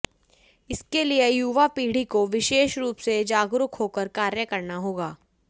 इसके लिए युवा पीढ़ी को विशेष रूप से जागरूक होकर कार्य करना होगा